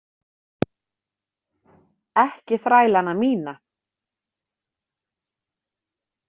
Ekki þrælana mína.